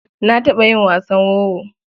Na taɓa yin wasan wowo.